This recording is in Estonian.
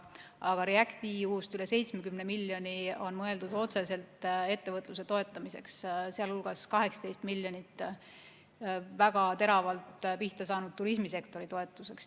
Aga REACT-EU-st üle 70 miljoni euro on mõeldud otseselt ettevõtluse toetamiseks, sh 18 miljonit eurot väga teravalt pihta saanud turismisektori toetuseks.